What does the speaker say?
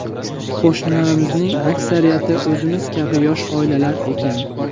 Qo‘shnilarimizning aksariyati o‘zimiz kabi yosh oilalar ekan.